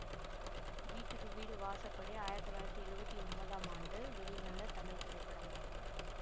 வீட்டுக்கு வீடு வாசப்படி ஆயிரத்தி தொள்ளாயிரத்தி எழுவத்தி ஒன்பதாம் ஆண்டு வெளிவந்த தமிழ் திரைப்படமாகும்